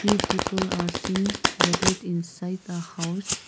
few people are seen gathered inside the house.